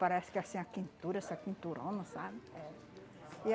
Parece que assim, a quentura, essa quenturona, sabe? E